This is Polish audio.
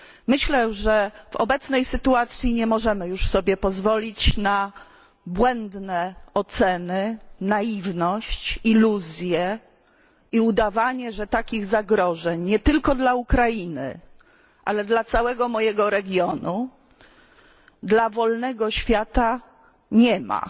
Myślę, że w obecnej sytuacji nie możemy już sobie pozwolić na błędne oceny, naiwność, iluzje i udawanie, że takich zagrożeń, nie tylko dla Ukrainy, ale dla całego mojego regionu, dla wolnego świata, nie ma.